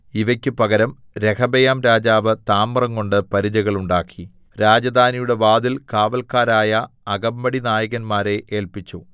ഇവയ്ക്ക് പകരം രെഹബെയാംരാജാവ് താമ്രംകൊണ്ട് പരിചകൾ ഉണ്ടാക്കി രാജധാനിയുടെ വാതിൽ കാവൽക്കാരായ അകമ്പടിനായകന്മാരെ ഏല്പിച്ചു